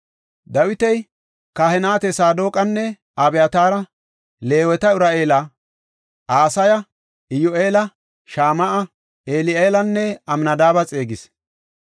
Dawiti kahineta Saadoqanne Abyataara, Leeweta Uri7eela, Asaya, Iyyu7eela, Shama7a, Eli7eelanne Amnadaabe xeegis.